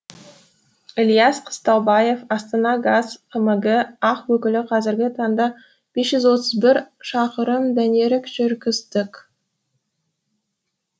ілияс қыстаубаев астанагаз қмг ақ өкілі қазіргі таңда бес жүз отыз бір шақырым дәнерік жүргіздік